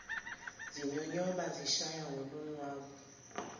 zinyonyoba zishaya ngolonwabu